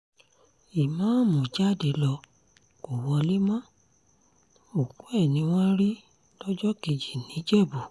ìmáàmù jáde ló kó wọlé mọ́ òkú ẹ̀ ni wọ́n rí lọ́jọ́ kejì níjẹ̀bù